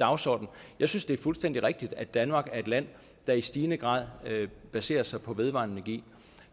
dagsorden jeg synes det er fuldstændig rigtigt at danmark er et land der i stigende grad baserer sig på vedvarende energi